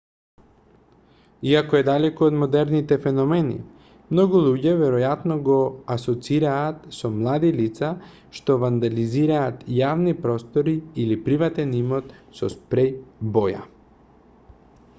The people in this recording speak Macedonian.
иако е далеку од модерните феномени многу луѓе веројатно го асоцираат со млади лица што вандализираат јавни простори или приватен имот со спреј боја